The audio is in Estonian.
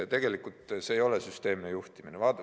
Tegelikult see ei ole süsteemne juhtimine.